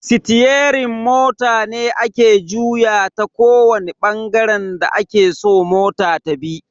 Sitiyerin mota ne ake juyawa ta kowani bangaren da ake so mota tabi.